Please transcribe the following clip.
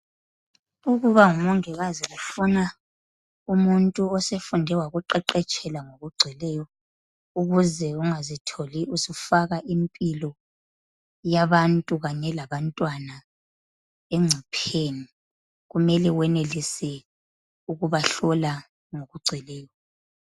Ukuba ngumongikazi kufuna umuntu osefunde wakuqeqetshela ngokugcweleyo, ukuze ungazitholi usufaka impilo yabantu kanye labantwana engcopheni kumele wenelise ukubahlola ngokugcweleyo.